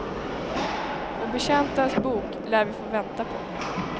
Och betjäntens bok lär vi få vänta på.